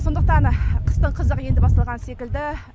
сондықтан қыстың қызығы енді басталған секілді